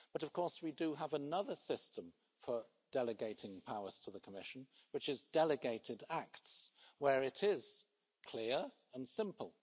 But of course we do have another system for delegating powers to the Commission, which is delegated acts, where it is clear and simple.